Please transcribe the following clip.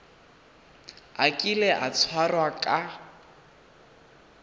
a kile a tshwarwa ka